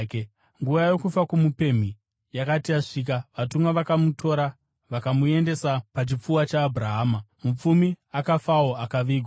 “Nguva yokufa kwomupemhi yakati yasvika vatumwa vakamutora vakamuendesa pachipfuva chaAbhurahama. Mupfumi akafawo akavigwa.